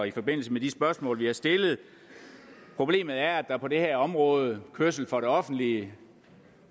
i forbindelse med de spørgsmål vi har stillet problemet er at der på det her område kørsel for det offentlige